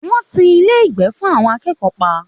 Wọ́n ti Ilé-ìgbé fún àwọn akẹ́kọ̀ọ́ pa